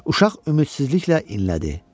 Uşaq ümidsizliklə inlədi.